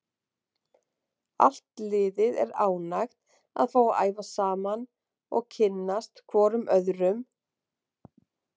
Allt liðið er ánægt að fá að æfa saman og kynnast hvorum öðrum.